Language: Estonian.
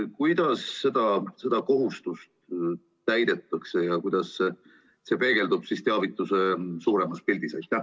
Kuidas seda kohustust täidetakse ja kuidas see peegeldub teavituse suuremas pildis?